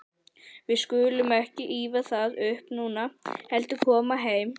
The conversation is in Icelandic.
Við skulum ekki ýfa það upp núna, heldur koma heim.